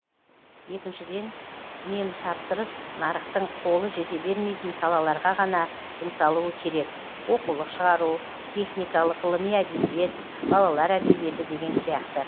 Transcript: екіншіден мемтапсырыс нарықтың қолы жете бермейтін салаларға ғана жұмсалуы керек оқулық шығару техникалық ғылыми әдебиет балалар әдебиеті деген сияқты